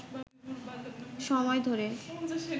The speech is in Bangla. সময় ধরে